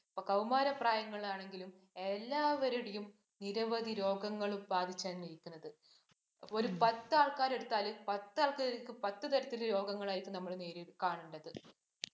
കൌമാര പ്രായങ്ങളാണെങ്കിലും, എല്ലാവരേയും നിരവധി രോഗങ്ങളും ബാധിച്ചാണ് ഇരിക്കുന്നത്. ഒരു പത്ത് ആൾക്കാർ എടുത്താലും പത്ത് ആൾക്കാരിലും പത്ത് തരത്തിലുള്ള രോഗങ്ങളായിരിക്കും നമ്മൾ നേരിൽ കാണേണ്ടത്.